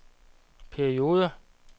perioder